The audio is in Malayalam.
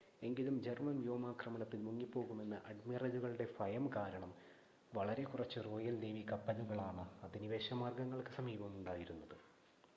എങ്കിലും ജർമ്മൻ വ്യോമാക്രമണത്തിൽ മുങ്ങിപ്പോകുമെന്ന് അഡ്മിറലുകളുടെ ഫയം കാരണം വളരെ കുറച്ച് റോയൽ നേവി കപ്പലുകളാണ് അധിനിവേശ മാർഗങ്ങൾക്ക് സമീപം ഉണ്ടായിരുന്നത്